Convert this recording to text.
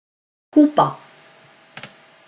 Kúba